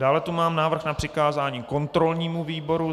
Dále tu mám návrh na přikázání kontrolnímu výboru.